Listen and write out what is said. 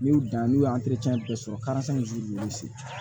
N'u dan n'u y'u bɛɛ sɔrɔ ninnu sen